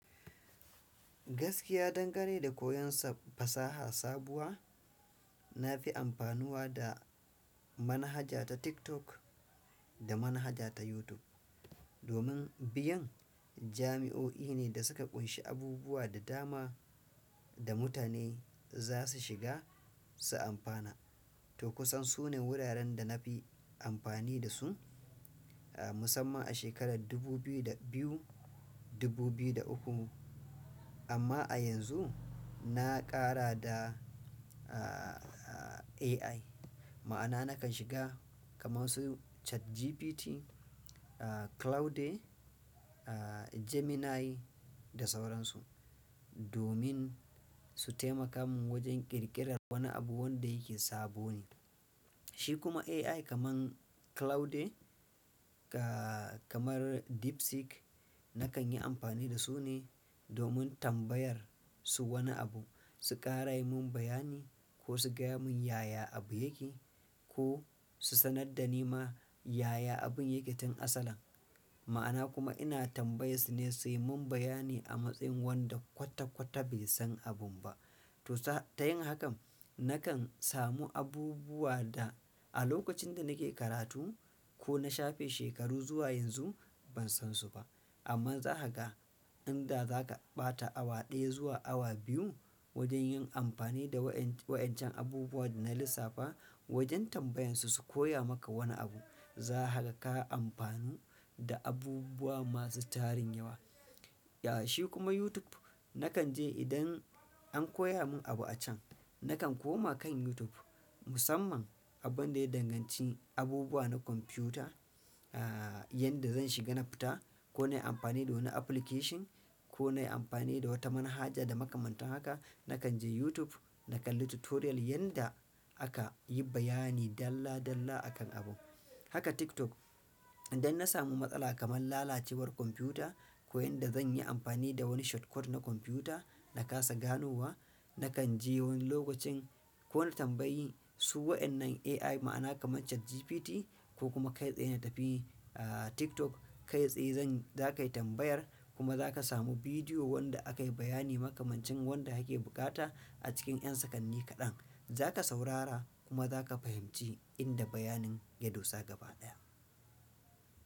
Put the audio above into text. Gaskiya dangane da koyon fasaha sabuwa, nafi amfanuwa da manhaja ta TikTok da manhaja ta YouTube. Domin biyun jami'o'i ne da suka ƙunshi abubuwa da dama da mutane zasu shiga su amfana. To kusan sune wuraren dana fi amfani dasu, musamman a shekarar dubu biyu da biyu, dubu biyu da uku amma a yanzu na ƙara da, AI ma'ana nakan shiga kamar su ChatGPT, Claude, Gemini da sauransu, domin su taimakamin wajen ƙirƙirar wani abu wanda yake sabo ne. Shi kuma AI kamar Claude kamar DeepSeek nakan yi amfani dasu ne domin tambayar su wani abu, su ƙara yimun bayani ko su gaya mun yaya abu yake, ko su sanar dani ma yaya abun yake tun asalan. Ma'ana kuma ina tambayar sune suyi mun bayani a matsayin wanda kwata-kwata bai san abun ba. To ta yin hakan nakan samu abubuwa da a lokacin da nake karatu ko na shafe shekaru zuwa yanzu ban san su ba. Amma zakaga inda zaka ɓata awa ɗaya zuwa awa biyu wajen yin amfani da wa'-waƴancan abubuwa dana lissafa wajen tambayan su, su koya maka wani abu. Zakaga ka amfanu da abubuwa masu tarin yawa. Ya shi kuma YouTube nakanje idan an koya mun abu acan, nakan koma kan YouTube musamman abunda ya danganci abubuwa na kwamfuta. A yanda zan shiga na fita ko nayi amfani da wani application ko nayi amfani da wata manhaja da makaman haka na kanje YouTube na kalli tutorial yanda akayi bayani dalla-dalla akan abun. Haka TikTok idan na samu matsala kamar lalacewar kwamfuta ko yanda zanyi amfani da wani shortcut na kwamfuta na kasa ganowa, nakan je wani lokacin ko na tambayi su waƴannan AI ma'ana kamar ChatGPT ko kuma kai tsaye na tafi TikTok kai tsaye zan-- za kayi tambayar kuma zaka samu bidiyo wanda aka yi bayani makamancin wanda ake bukata a cikin ƴan sakanni kaɗan. Za ka saurara kuma zaka fahimci inda bayanin ya dosa gaba ɗaya.